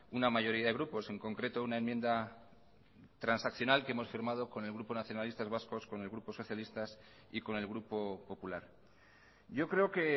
una mayoría de grupos en concreto una enmienda transaccional que hemos firmado con el grupo nacionalistas vascos con el grupo socialistas y con el grupo popular yo creo que